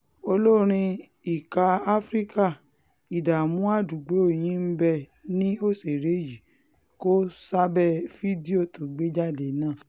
olórin ìka afrika ìdààmú àdúgbò yín bẹ́ẹ̀ ni òṣèré yìí kó o sábẹ́ fídíò tó gbé jáde náà